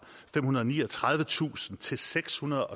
femhundrede og niogtredivetusind til sekshundrede